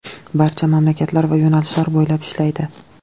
Barcha mamlakatlar va yo‘nalishlar bo‘ylab ishlaydi.